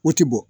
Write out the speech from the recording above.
O ti bɔ